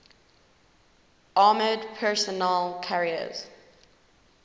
armored personnel carriers